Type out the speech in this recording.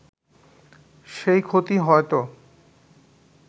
সেই ক্ষতি হয়ত